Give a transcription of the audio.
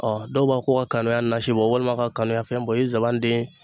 Ɔ dɔw b'a ko ka kanuya nasi bɔ , walima ka kanuya fɛn bɔ o ye zanban den ye.